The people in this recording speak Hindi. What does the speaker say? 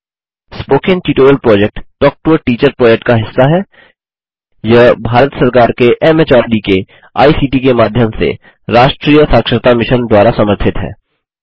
spoken tutorial project talk to a teacher project का हिस्सा है यह भारत सरकार के एमएचआरडी के आईसीटी के माध्यम से राष्ट्रीय साक्षरता मिशन द्वारा समर्थित है